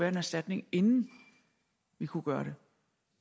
en erstatning inden vi kunne gøre